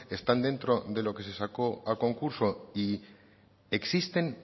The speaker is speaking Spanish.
están dentro de lo que se sacó a concurso y existen